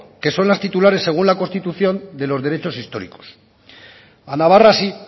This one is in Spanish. que son las titulares según la constitución de los derechos históricos a navarra sí